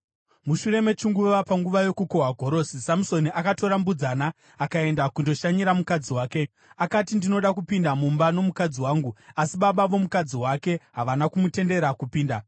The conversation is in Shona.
Mushure mechinguva, panguva yokukohwa gorosi, Samusoni akatora mbudzana akaenda kundoshanyira mukadzi wake. Akati, “Ndinoda kupinda mumba nomukadzi wangu.” Asi baba vomukadzi wake havana kumutendera kupinda.